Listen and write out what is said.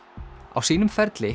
á sínum ferli